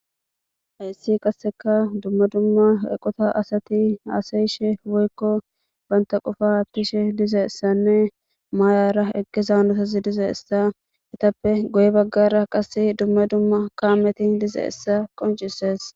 hayssi qasseka dumma dumma eqota asati haasayishe woykko banta qofa ttishe diza issanne maayara eqqe zaanotazi diza issa etappe goye baggara qase dumma dumma kaameti diza issa qoncises